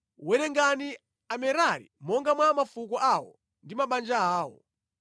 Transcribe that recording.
“Werenga Amerari monga mwa mafuko awo ndi mabanja awo.